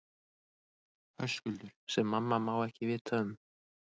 Höskuldur: Sem mamma má ekki vita um?